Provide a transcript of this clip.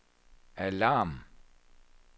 alarm